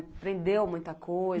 Aprendeu muita coisa.